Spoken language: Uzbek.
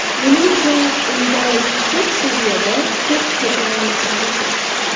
Menimcha, unda yuksak saviyada to‘p tepa olmasam kerak.